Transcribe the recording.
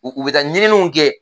U u bɛ taa ɲininiw kɛ